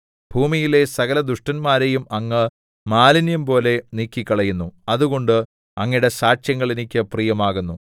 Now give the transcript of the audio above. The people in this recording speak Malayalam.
ഭൂമിയിലെ സകലദുഷ്ടന്മാരെയും അങ്ങ് മാലിന്യംപോലെ നീക്കിക്കളയുന്നു അതുകൊണ്ട് അങ്ങയുടെ സാക്ഷ്യങ്ങൾ എനിക്ക് പ്രിയമാകുന്നു